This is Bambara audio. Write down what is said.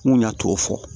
N kun ɲa t'o fɔ